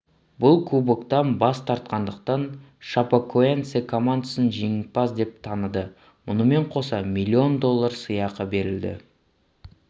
бұл кубоктан бас тартқандықтан шапекоэнсе командасын жеңімпаз деп таныды мұнымен қоса миллион доллар сыйақы берілді